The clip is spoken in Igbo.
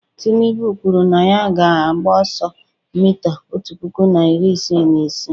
tinubu kwuru na ya ga-agba ọsọ mita otu puku na iri isii na isii